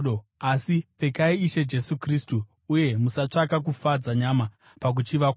Asi pfekai Ishe Jesu Kristu, uye musatsvaka kufadza nyama pakuchiva kwayo.